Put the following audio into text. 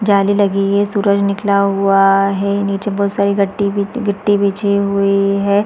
जाली लगी है सूरज निकला हुआ है निचे बहोत सारी गट्टी-गिट्टी बिछी हुई है।